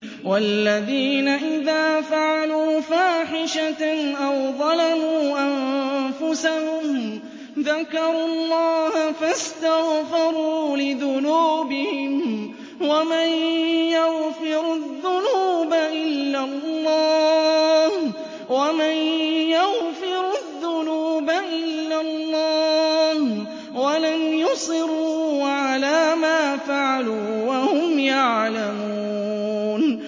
وَالَّذِينَ إِذَا فَعَلُوا فَاحِشَةً أَوْ ظَلَمُوا أَنفُسَهُمْ ذَكَرُوا اللَّهَ فَاسْتَغْفَرُوا لِذُنُوبِهِمْ وَمَن يَغْفِرُ الذُّنُوبَ إِلَّا اللَّهُ وَلَمْ يُصِرُّوا عَلَىٰ مَا فَعَلُوا وَهُمْ يَعْلَمُونَ